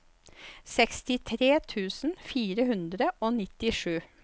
sekstitre tusen fire hundre og nittisju